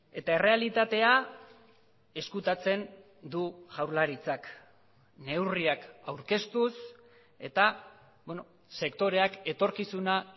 eta errealitatea ezkutatzen du jaurlaritzak neurriak aurkeztuz eta sektoreak etorkizuna